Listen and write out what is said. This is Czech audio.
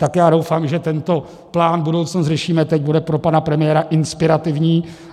Tak já doufám, že tento plán Budoucnost řešíme teď bude pro pana premiéra inspirativní.